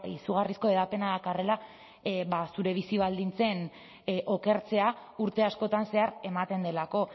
izugarrizko hedapena dakarrela ba zure bizi baldintzen okertzea urte askotan zehar ematen delako